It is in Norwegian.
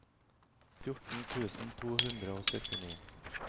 fjorten tusen to hundre og syttini